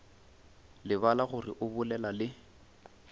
lebala gore o bolela le